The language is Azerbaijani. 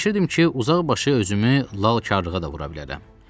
Fikirləşirdim ki, uzaqbaşı özümü lalkarlığa da vura bilərəm.